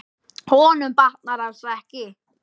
Honum batnar alls ekki.